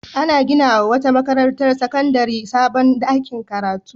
An gina wa wata makarantar sakandare sabon ɗakin karatu.